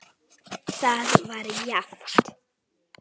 Það var jafnt.